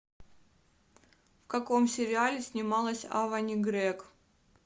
в каком сериале снималась авани грег